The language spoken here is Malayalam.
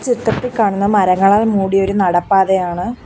ചിത്രത്തിൽ കാണുന്ന മരങ്ങളാൽ മൂടിയൊരു നടപ്പാതയാണ്.